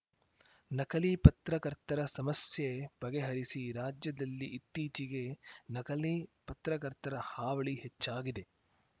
ನಕಲಿ ಪತ್ರಕರ್ತರ ಸಮಸ್ಯೆ ಬಗೆಹರಿಸಿ ರಾಜ್ಯದಲ್ಲಿ ಇತ್ತೀಚಿಗೆ ನಕಲಿ ಪತ್ರಕರ್ತರ ಹಾವಳಿ ಹೆಚ್ಚಾಗಿದೆ